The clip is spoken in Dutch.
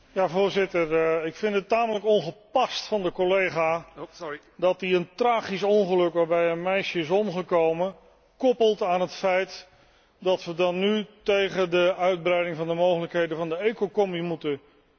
Ik vind het tamelijk ongepast van de collega dat hij een tragisch ongeluk, waarbij een meisje is omgekomen, koppelt aan het feit dat wij nu tegen de uitbreiding van de mogelijkheden van de ecocombi moeten stemmen.